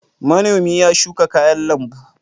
Manomi ya shuka kayan lambu.